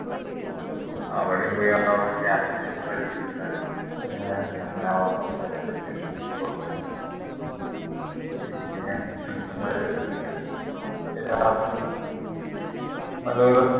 അവിടെയും പോയി അവിടുന്ന് ക്യാരംസ് ഒക്കെ കളിച്ചു ഏർ അങ്ങനെ